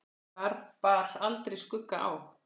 Þar bar aldrei skugga á.